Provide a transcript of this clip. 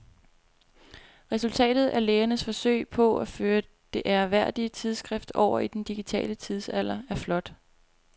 Resultatet af lægernes forsøg på at føre det ærværdige tidsskrift over i den digitale tidsalder er flot.